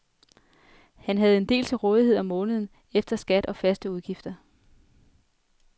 Han havde en del til rådighed om måneden efter skat og faste udgifter.